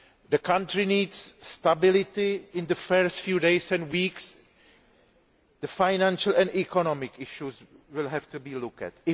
The country needs stability in the first few days and weeks, and the financial and economic issues will have to be looked at.